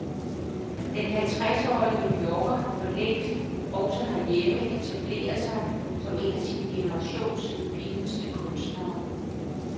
Den halvtresårige new yorker har forlængst, også her hjemme, etableret sig som en af sin generations fineste kunstnere.